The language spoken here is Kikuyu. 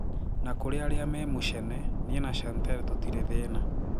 Na kũrĩ arĩa me mũchene, nie na Chantal tutĩre thĩna.